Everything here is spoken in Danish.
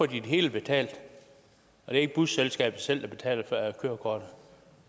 det hele betalt og det er ikke busselskabet selv der betaler kørekortet